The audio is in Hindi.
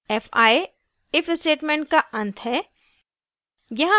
fi if statement का अंत है